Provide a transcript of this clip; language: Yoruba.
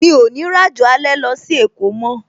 Mi ò ní ràjò alẹ́ lọ sí èkó mó